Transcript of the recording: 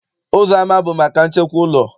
Ụzọama bụ maka nchekwa ụlọ.